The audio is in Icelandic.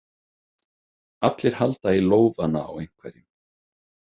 Allir halda í lófana á einhverjum.